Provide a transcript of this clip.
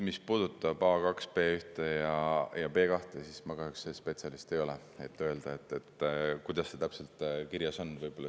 Mis puudutab A2, B1 ja B2, siis ma kahjuks ei ole spetsialist, et öelda, kuidas see täpselt kirjas on.